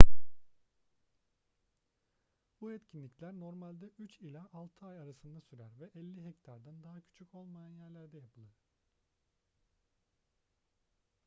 bu etkinlikler normalde üç ila altı ay arasında sürer ve 50 hektardan daha küçük olmayan yerlerde yapılır